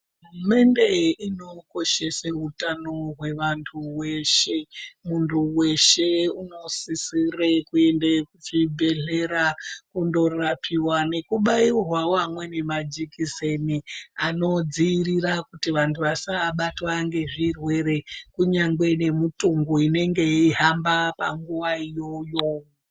Hurumende inokoshesa utano hwevantu veshe, muntu weshe unosisa kuenda kuchibhedhlera ondorapiwa nekubairwawo amweni majikiseni anodzivirira kuti vantu vasabatwa ngezvirwere kunyangwe nemitongo inenge yeihamba panguva iyoyo